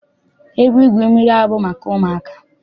Ebe igwu mmiri abụghị maka ụmụaka.